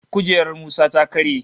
Kujerar Musa ta karye